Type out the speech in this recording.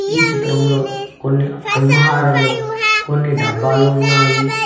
ఈ చిత్రంలో కొన్ని ఆల్మహారాలు కొన్ని డబ్బాలు ఉన్నాయి.